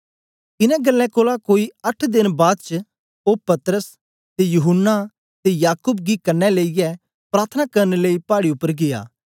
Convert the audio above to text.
इनें गल्लें कोलां कोई अट्ठ देन बाद च ओ पतरस ते यूहन्ना ते याकूब गी कन्ने लेईयै प्रार्थना करन लेई पाड़ी उपर गीया